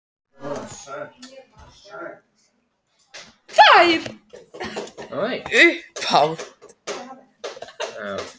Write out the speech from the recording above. Þær höfðu báðar verið staðráðnar í þessu.